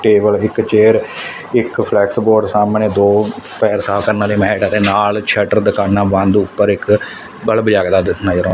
table ਇੱਕ chair ਇੱਕ flex board ਸਾਹਮਣੇ ਦੋ ਪੈਰ ਸਾਫ ਕਰਨ ਵਾਲੇ ਮੈਟ ਦੇ ਨਾਲ ਸ਼ਟਰ ਦੁਕਾਨਾਂ ਬੰਦ ਉੱਪਰ ਇੱਕ ਬਲਬ ਜਗਦਾ ਨਜ਼ਰ ਆਉਂਦਾ--